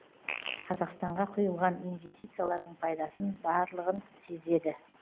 қазақстанға құйылған инвестициялардың пайдасын барлығын сезеді